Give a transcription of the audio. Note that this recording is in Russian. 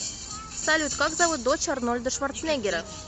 салют как зовут дочь арнольда шварценеггера